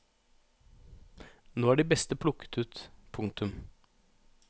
Nå er de beste plukket ut. punktum